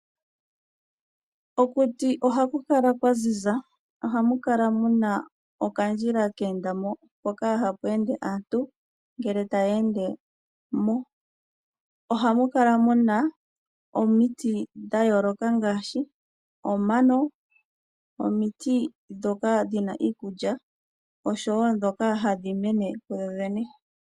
Okuti ohaku kala kwaziza mo ohamu kala muna okandjila keenda mo hoka haka hamu ende aantu ngele taya ende mo . Oha mu kala muna omiti dhayooloka ngaashi omano, omiti ndhoka dhina iikulya oshowo ndhoka hadhi mene kudhodhene.